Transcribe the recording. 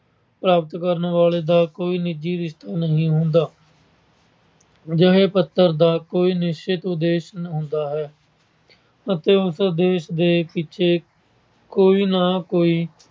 ਪ੍ਰਾਪਤ ਕਰਨ ਵਾਲੇ ਦਾ ਕੋਈ ਨਿੱਜੀ ਰਿਸ਼ਤਾ ਨਹੀਂ ਹੁੰਦਾ। ਅਜਿਹੇ ਪੱਤਰ ਦਾ ਕੋਈ ਨਿਸ਼ਚਿਤ ਉਦੇਸ਼ ਹੁੰਦਾ ਹੈ ਅਤੇ ਉਸ ਉਦੇਸ਼ ਪਿੱਛੇ ਕੋਈ ਨਾ ਕੋਈ